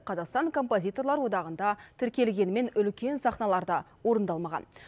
қазақстан композиторлар одағында тіркелгенімен үлкен сахналарда орындалмаған